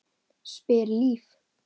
spyr Líf.